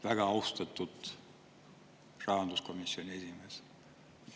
Väga austatud rahanduskomisjoni esimees!